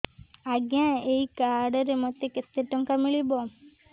ଆଜ୍ଞା ଏଇ କାର୍ଡ ରେ ମୋତେ କେତେ ଟଙ୍କା ମିଳିବ